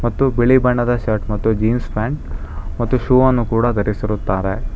ತ್ತು ಬಿಳಿ ಬಣ್ಣದ ಶರ್ಟ್ ಮತ್ತು ಜೀನ್ಸ್ ಪ್ಯಾಂಟ್ ಮತ್ತು ಶೂ ವನ್ನು ಕೂಡ ಧರಿಸುತ್ತಾರೆ.